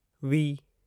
V